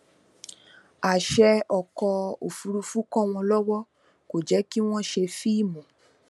àṣẹ ọkọ òfurufú kọ wọn lọwọ kò jẹ kí wọn ṣe fíìmù